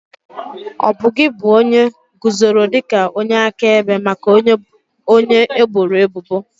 Ọbụ gi bụ onye guzoro dị ka onye akaebe maka onye eboro ebubo?